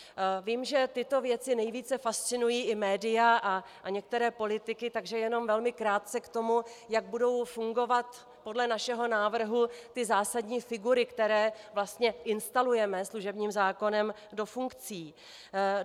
Vím, že tyto věci nejvíce fascinují i média a některé politiky, takže jenom velmi krátce k tomu, jak budou fungovat podle našeho návrhu ty zásadní figury, které vlastně instalujeme služebním zákonem do funkcí.